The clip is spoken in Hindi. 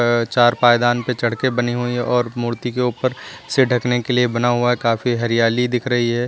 अ चार पायदान पे चढ़ के बनी हुई है और मूर्ति के ऊपर से ढकने के लिए बना हुआ है काफी हरियाली दिख रही है।